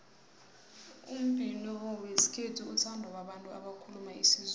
umbhino wesikhethu uthandwa babantu abakhuluma isizulu